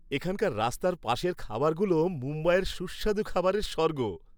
এখানকার রাস্তার পাশের খাবারগুলো মুম্বাইয়ের সুস্বাদু খাবারের স্বর্গ।